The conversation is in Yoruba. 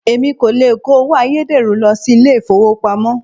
Èmi kò le kó owó ayédèrú lọ sí ilé ìfowópamọ́.